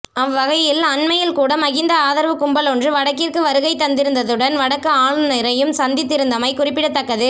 அவ்வகையில் அண்மையில் கூட மஹிந்த ஆதரவு கும்பலொன்று வடக்கிற்கு வருகை தந்திருந்ததுடன் வடக்கு ஆளுநரையும் சந்தித்திருந்தமை குறிப்பிடத்தக்கது